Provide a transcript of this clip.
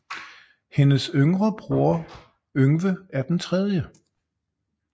Hendes bror Yngve er den tredje